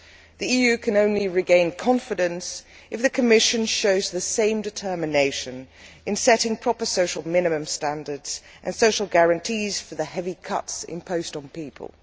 The EU can only regain confidence if the Commission shows the same determination in setting proper minimum social standards and social guarantees for the heavy cuts imposed on people.